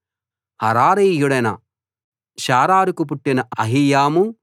హరారీయుడైన Shammah హరారీయుడైన షారారుకు పుట్టిన అహీయాము